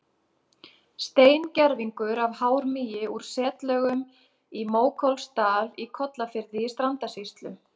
Steingervingur af hármýi úr setlögum í Mókollsdal í Kollafirði í Strandasýslu.